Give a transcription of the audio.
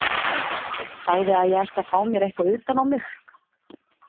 Sagði að ég ætti að fá mér eitthvað utan á mig.